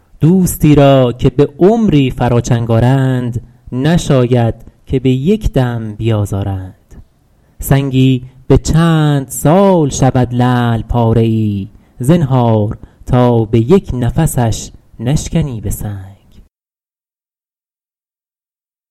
دوستی را که به عمری فرا چنگ آرند نشاید که به یک دم بیازارند سنگی به چند سال شود لعل پاره ای زنهار تا به یک نفسش نشکنی به سنگ